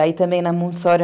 Aí também na Montessori.